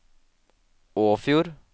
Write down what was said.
Åfjord